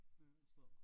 Ja sådan noget